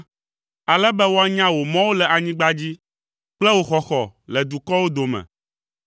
Ale be woanya wò mɔwo le anyigba dzi kple wò xɔxɔ le dukɔwo dome.